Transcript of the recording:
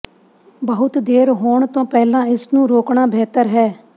ਬਹੁਤ ਦੇਰ ਹੋਣ ਤੋਂ ਪਹਿਲਾਂ ਇਸ ਨੂੰ ਰੋਕਣਾ ਬਿਹਤਰ ਹੈ